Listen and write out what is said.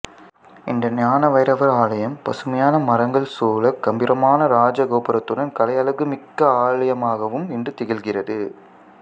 இந்த ஞான வைரவர் ஆலயம் பசுமையயான மரங்கள் சூழக் கம்பீரமான இராஜ கோபுரத்துடன் கலையழகு மிக்க ஆலயமாகவும் இன்று திகழ்கின்றது